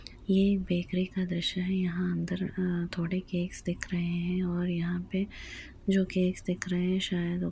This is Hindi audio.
ये बेकरी का दृश्य है यहाँ अंदर अ थोड़े केक्स दिख रहे हैं और यहां पे जो केक्स दिख रहे शायद वो --